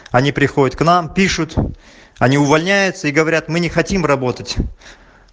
они приходят к нам пишут они увольняются и говорят мы не хотим работать